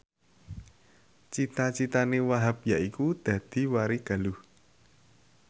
cita citane Wahhab yaiku dadi warigaluh